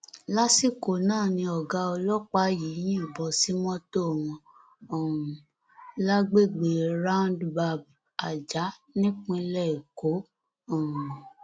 lásìkò náà ni ọgá ọlọpàá yìí yìnbọn sí mọtò wọn um lágbègbè roundab ajah nípínlẹ èkó um